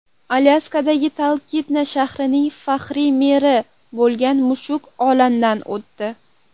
Alyaskadagi Talkitna shahrining faxriy meri bo‘lgan mushuk olamdan o‘tdi.